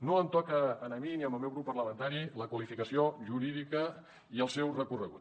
no em toca a mi ni al meu grup parlamentari la qualificació jurídica i el seu recorregut